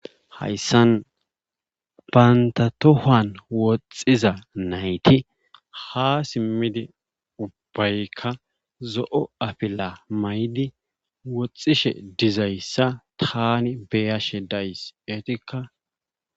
Hayssan bantta tohuwan woxxiza nayti ha simmidi ubbaykka zo'o afila mayidi woxishe dizayssa taani be'ashe days etikka